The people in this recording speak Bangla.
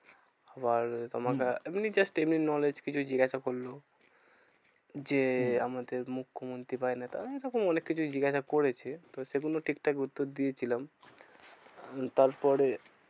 আবার আমাকে এমনি হম just এমনি knowledge কিছু জিজ্ঞাসা করলো। যে হম আমাদের মুখ্যমন্ত্রী বা নেতা উম এরকম অনেককিছুই জিজ্ঞাসা করেছে। তো সেগুলো ঠিকঠাক উত্তর দিয়েছিলাম। উম তারপরে